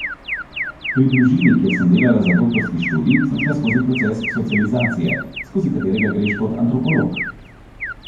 Pri družini, kjer sem delala za doktorski študij, sem šla skozi proces socializacije, skozi katerega greš kot antropolog.